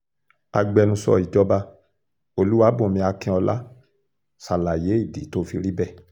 agbẹnusọ ìjọba olúwàbùnmí akínọ́lá ṣàlàyé ìdí tó fi rí bẹ́ẹ̀